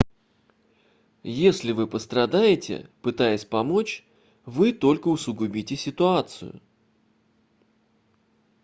если вы пострадаете пытаясь помочь вы только усугубите ситуацию